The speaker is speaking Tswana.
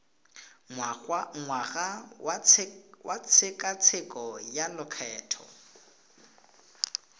ngwaga wa tshekatsheko ya lokgetho